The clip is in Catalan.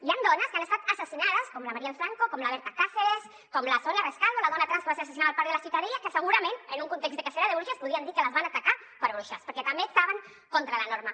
hi han dones que han estat assassinades com la marielle franco com la berta cáceres com la sònia rescalvo la dona trans que va ser assassinada al parc de la ciutadella que segurament en un context de cacera de bruixes podríem dir que les van atacar per bruixes perquè també estaven contra la norma